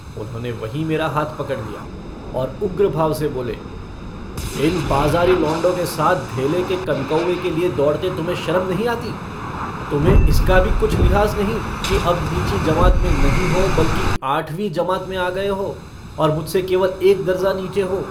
उन्होंने वहीं मेरा हाथ पकड़ लिया और उग्र भाव से बोले इन बाजारी लौंडों के साथ धेले के कनकौए के लिए दौड़ते तुम्हें शर्म नहीं आती तुम्हें इसका भी कुछ लिहाज नहीं कि अब नीची जमात में नहीं हो बल्कि आठवीं जमात में आ गये हो और मुझसे केवल एक दरजा नीचे हो।